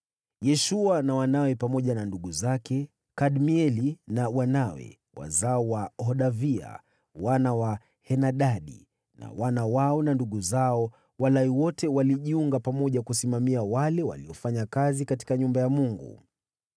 Yeshua na wanawe, pamoja na ndugu zake, Kadmieli na wanawe (wazao wa Hodavia), wana wa Henadadi na wana wao na ndugu zao, Walawi wote walijiunga pamoja kusimamia wale waliofanya kazi katika nyumba ya Mungu.